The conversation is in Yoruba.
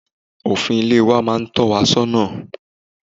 Òfin Ilẹ̀ wa máa n tọ́ wa sọ́nà